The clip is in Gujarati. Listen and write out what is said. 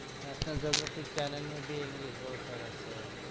National geography channel નું ભી english સરસ છે